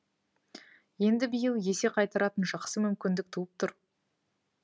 енді биыл есе қайтаратын жақсы мүмкіндік туып тұр